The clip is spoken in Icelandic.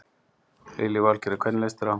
Lillý Valgerður: Hvernig leist þér á?